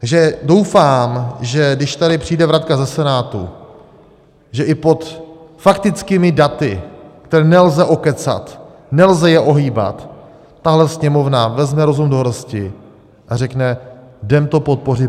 Takže doufám, že když sem přijde vratka ze Senátu, že i pod faktickými daty, která nelze okecat, nelze je ohýbat, tahle Sněmovna vezme rozum do hrsti a řekne: jdeme to podpořit.